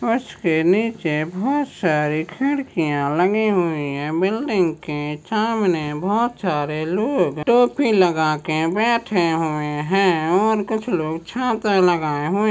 उसके के नीचे बहुत सारी खिड्किया लगी हुई है बिल्डिंग के सामने बहुत सारे लोग टोपी लगाके बैठे हुए है और कुछ लोग छाता लगाए हुए--